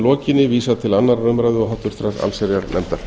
lokinni vísað til annarrar umræðu og háttvirtrar allsherjarnefndar